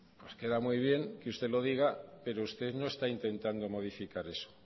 pues queda muy bien que usted lo diga pero usted no está intentando modificar eso